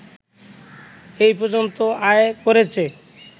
এ পর্যন্ত আয় করেছে